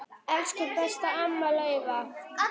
Elsku besta amma Laufey.